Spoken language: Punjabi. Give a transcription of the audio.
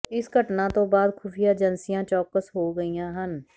ਇਸ ਘਟਨਾ ਤੋਂ ਬਾਅਦ ਖੁਫੀਆਂ ਏਜੰਸੀਆਂ ਚੌਕਸ ਹੋ ਗਈਆਂ ਹਨ